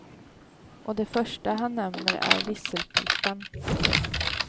Och det första han nämner är visselpipan. punkt